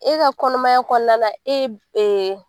E ka kɔnɔmaya kɔnɔna e